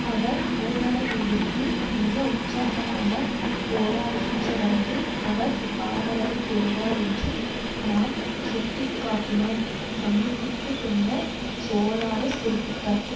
அவர் ஊழலை எதிர்த்து மிக உற்சாகமாக போராடுகின்ற வரையில் அவர் ஆதரவை பெறுவார் என்று நாம் சுட்டி காட்டினோம் சந்திப்பிற்குப் பின்னர் சோலாரெஸ் குறிப்பிட்டார்